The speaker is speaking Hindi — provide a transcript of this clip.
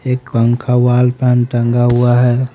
एक पंखा वॉल फैन टंगा हुआ है।